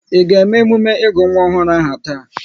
Ị ga eme emume ịgụ nwa ọhụrụ aha taa!